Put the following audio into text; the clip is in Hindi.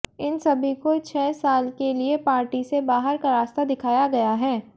इन सभी को छह साल के लिए पार्टी से बाहर का रास्ता दिखाया गया है